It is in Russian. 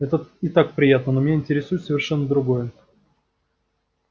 это и так приятно но меня интересует совершенно другое